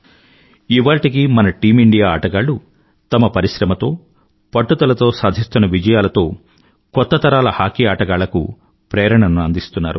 ఇవాళ్టికీ మన team India ఆటగాళ్ళు తమ పరిశ్రమతో పట్టుదలతో సాధిస్తున్న విజయాలతో కొత్త తరాల హాకీ ఆటగాళ్ళకు ప్రేరణను అందిస్తున్నారు